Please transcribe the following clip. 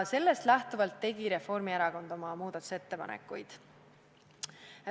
Sellest lähtuvalt tegi Reformierakond oma muudatusettepanekuid.